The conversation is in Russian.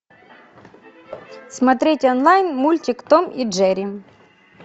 смотреть онлайн мультик том и джери